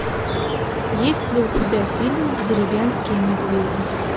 есть ли у тебя фильм деревенские медведи